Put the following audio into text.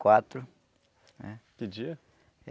Quatro, eh. Que dia?